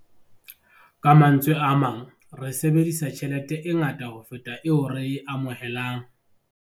Ka mantswe a mang, re sebedisa tjhelete e ngata ho feta eo re e amohelang.